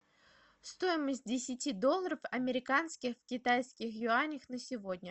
стоимость десяти долларов американских в китайских юанях на сегодня